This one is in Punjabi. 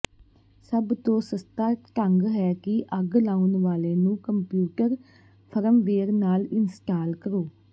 ਸਭ ਤੋਂ ਸਸਤਾ ਢੰਗ ਹੈ ਕਿ ਅੱਗ ਲਾਉਣ ਵਾਲੇ ਨੂੰ ਕੰਪਿਊਟਰ ਫਰਮਵੇਅਰ ਨਾਲ ਇੰਸਟਾਲ ਕਰਨਾ